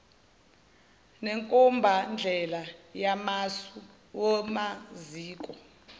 nenkombandlela yamasu kumaziko